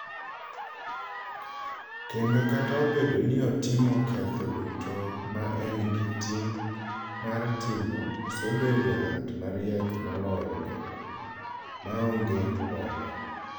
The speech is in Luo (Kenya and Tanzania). Kendo kata obedo ni otimo ketho duto ma en gi ting' mar timo, osebedo ng'at mariek moloyo jakuo maongee ng'uono.